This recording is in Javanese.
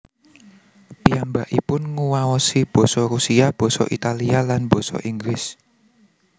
Piyambakipun nguwaosi Basa Rusia Basa Italia lan Basa Inggris